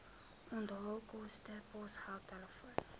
onthaalkoste posgeld telefoon